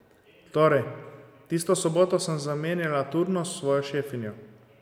Torej, tisto soboto sem zamenjala turnus s svojo šefinjo.